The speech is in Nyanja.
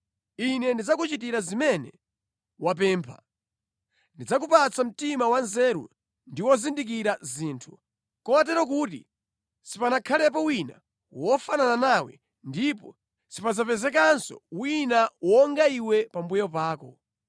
Ine ndidzakuchitira zimene wapempha. Ndidzakupatsa mtima wanzeru ndi wozindikira zinthu, kotero kuti sipanakhalepo wina wofanana nawe ndipo sipadzapezekanso wina wonga iwe pambuyo pako.